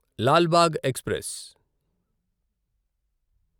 Lal Bagh express